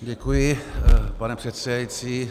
Děkuji, pane předsedající.